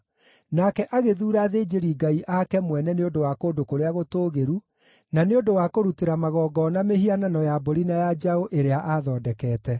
Nake agĩthuura athĩnjĩri-ngai ake mwene nĩ ũndũ wa kũndũ kũrĩa gũtũũgĩru, na nĩ ũndũ wa kũrutĩra magongona mĩhianano ya mbũri na ya njaũ ĩrĩa aathondekete.